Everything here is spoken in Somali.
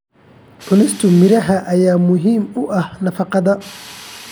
Cunista miraha ayaa muhiim u ah nafaqada.